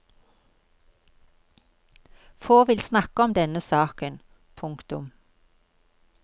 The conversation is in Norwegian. Få vil snakke om denne saken. punktum